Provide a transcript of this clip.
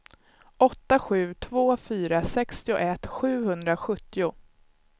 åtta sju två fyra sextioett sjuhundrasjuttio